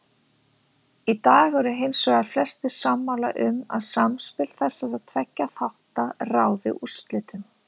Í dag eru hins vegar flestir sammála um að samspil þessara tveggja þátta ráði úrslitum.